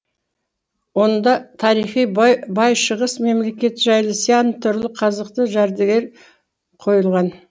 онда тарихы бай шығыс мемлекеті жайлы сян түрлі қазықты жәдігер қойылған